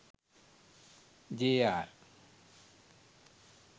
JR